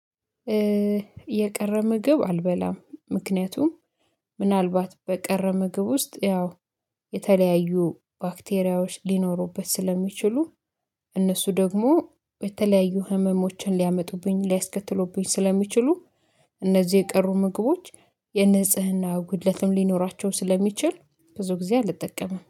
የቀረ ምግብ አልበላም ምክንያቱም ምናልባት በቀረ ምግብ ውስጥ ያው የተለያዩ ባክቴሪያዎች ሊኖሩበት ስለሚችሉ እነሱ ደግሞ የተለያዩ ህመሞችን ሊያመጡብኝ ሊያስከትሉብኝ ስለሚችሉ እነዚህ የቀሩ ምግቦች የንጽህና ጉድለትም ሊኖራቸው ስለሚችል ብዙ ጊዜ አልጠቀምም